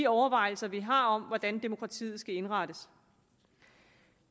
overvejelser vi har om hvordan demokratiet skal indrettes